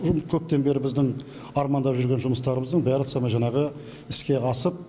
көптен бері біздің армандап жүрген жұмыстарымыздың бәрі сомен жаңағы іске асып